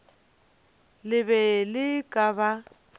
le be le ka ba